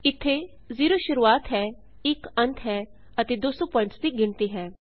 ਇੱਥੇ 0 ਸ਼ੁਰੂਆਤ ਹੈ 1 ਅੰਤ ਹੈ ਅਤੇ 200 ਪੁਆਇੰਟਸ ਦੀ ਗਿਣਤੀ ਹੈ